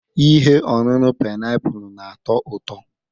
ihe ọṅụṅụ painiapulu na-atọ ụtọ?